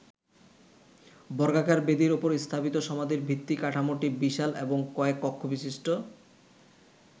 বর্গাকার বেদির ওপর স্থাপিত সমাধির ভিত্তি কাঠামোটি বিশাল এবং কয়েক কক্ষবিশিষ্ট।